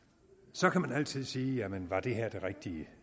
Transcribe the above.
så kan man altid sige jamen er det her det rigtige